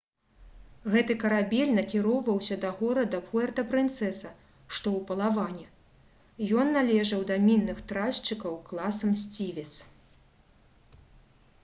гэты карабель накіроўваўся да горада пуэрта-прынцэса што ў палаване. ён належаў да мінных тральшчыкаў класа «мсцівец»